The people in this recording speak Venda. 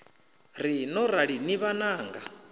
ri no rali ni vhananga